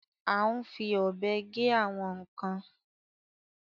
À ń fi ọ́bè gè àwọn nkan.